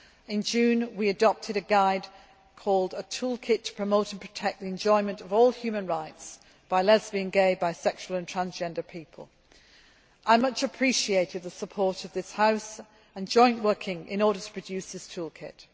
In June we adopted a guide called a toolkit to promote the enjoyment of all human rights by lesbian, gay, bi sexual and trans gender people'. I much appreciated the support of this House and joint working in order to produce this toolkit.